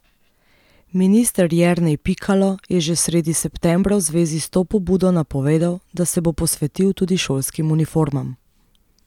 Minister Jernej Pikalo je že sredi septembra v zvezi s to pobudo napovedal, da se bo posvetil tudi šolskim uniformam.